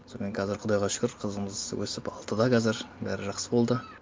сонымен қазір құдайға шүкір қызымыз өсіп алтыда қазір бәрі жақсы болды